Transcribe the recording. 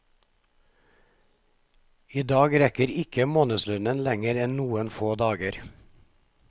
I dag rekker ikke månedslønnen lengre enn noen få dager.